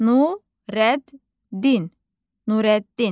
Nureddin, Nureddin.